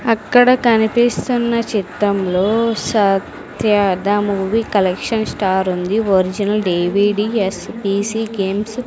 అక్కడ కనిపిస్తున్న చిత్రంలో Satya the movie collection star ఉంది ఒరిజినల్ డి_వి_డి_ఎస్_ఈ_సీ గేమ్స్ .